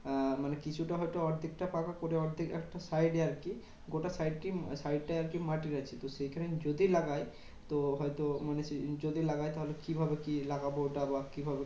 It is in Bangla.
আহ মানে কিছুটা হয়তো অর্ধেকটা পাকা করে অর্ধেক একটা side এ আরকি গোটা side টাই side টাই আরকি মাটির আছে। তো সেখানে যদি লাগাই, তো হয়তো মানে সেই যদি লাগাই তাহলে কিভাবে কি লাগাবো? ওটা বা কিভাবে